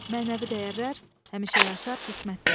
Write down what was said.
Mənəvi dəyərlər, həmişə yaşar hikmətlər.